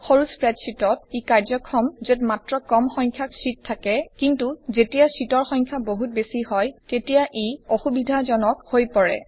সৰু স্প্ৰেডশ্বিটত ই কাৰ্য্যক্ষম যত মাত্ৰ কম সংখ্যক শ্বিট থাকে কিন্তু যেতিয়া শ্বিটৰ সংখ্যা বহুত বেছি হয় তেতিয়া ই অসুবিধাজনক হৈ পৰে